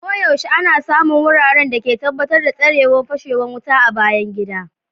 Koyaushe ana samun wuraren da ke tabbatar datsarewan fashewan wuta a bayan gidan